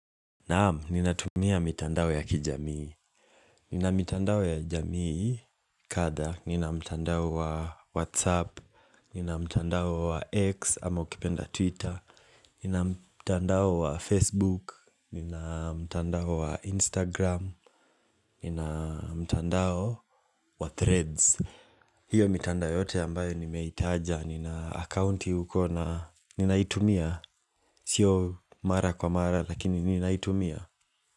Naamu, ninatumia mitandao ya kijamii Ninamitandao ya jamii kada Nina mitandao wa Whatsapp Nina mitandao wa X ama ukipenda Twitter Nina mitandao wa Facebook Nina mitandao wa Instagram Nina mitandao wa Threads hiyo mitanda yote ambayo nimeitaja Nina account yuko na Ninaitumia Sio mara kwa mara lakini ninaitumia.